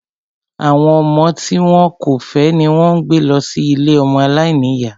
Àwọn ọmọ tí wọn kò fẹ́ ni wón ń gbé lọ sí ilée ọmọ aláìníyá